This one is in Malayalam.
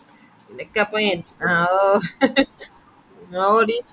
നിനക്കപ്പോ എൻ ആ ഓ ഓ ആവൊടി